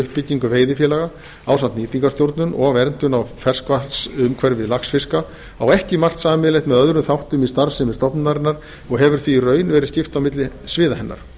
uppbyggingu veiðifélaga ásamt nýtingarstjórnun og verndun á ferskvatnsumhverfi laxfiska á ekki margt sameiginlegt með öðrum þáttum í starfsemi stofnunarinnar og hefur því í raun verið skipt milli sviða hennar